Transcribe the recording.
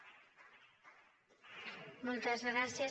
sí moltes gràcies